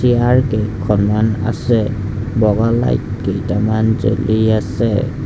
ইয়াৰ গেটখনত আছে বগা লাইট কেইটামান জ্বলি আছে।